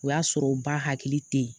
O y'a sɔrɔ u ba hakili tɛ yen